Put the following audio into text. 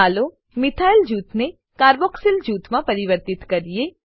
ચાલો મિથાઇલ જૂથને કાર્બોક્સિલ જૂથમાં પરિવર્તિત કરીએ